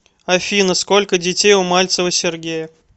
афина сколько детей у мальцева сергея